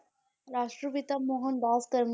ਰਾਸ਼ਟਰ ਪਿਤਾ ਮੋਹਨ ਦਾਸ ਕਰਮ~